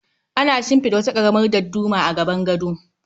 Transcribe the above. Ana shimfida wata karamar dadduma a gaban gado